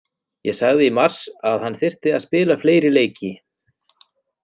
Ég sagði í mars að hann þyrfti að spila fleiri leiki.